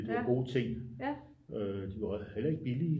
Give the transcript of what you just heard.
Det var gode ting de var heller ikke billige